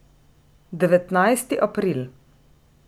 Devetnajsti april.